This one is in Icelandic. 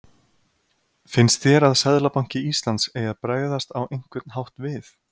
Finnst þér að Seðlabanki Íslands eigi að bregðast á einhvern hátt við?